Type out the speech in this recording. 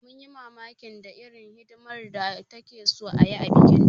Mun yi mamakin da irin hidimar da takeso ayi a bikin ta